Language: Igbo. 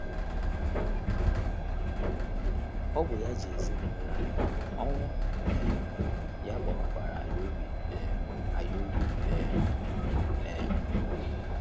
Ọ bụ ya ji ezinụlọ anyị, ọnwụ um ya gbawakwara anyị obi um anyị obi um. um